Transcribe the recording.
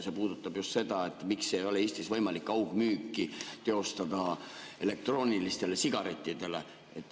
See puudutab just seda, miks ei ole Eestis võimalik teostada elektrooniliste sigarettide kaugmüüki.